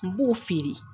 N b'o feere